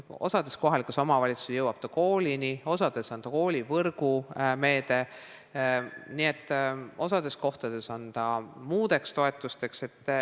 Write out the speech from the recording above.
Osas kohalikes omavalitsustes jõuab see koolini, osas on see koolivõrgu meede, osas kohtades on see muudeks toetusteks.